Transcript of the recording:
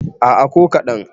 a' a ko kaɗan